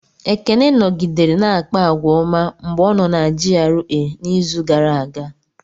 Ekene nọgidere na-akpa àgwà ọma mgbe ọ nọ na GRA n'izu gara aga.